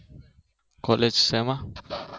college શેમાં?